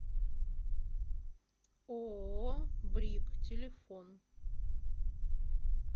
ооо брик телефон